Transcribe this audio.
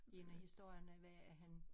En af historierne var at han